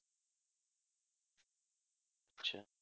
আচ্ছা